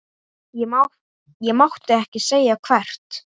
Ég mátti ekki segja hvert.